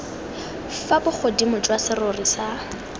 fa bogodimo jwa serori sa